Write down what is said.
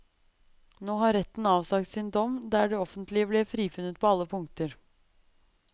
Nå har retten avsagt sin dom, der det offentlige ble frifunnet på alle punkter.